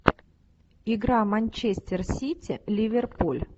игра манчестер сити ливерпуль